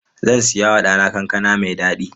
Zan saya wa ɗana kankana mai daɗi.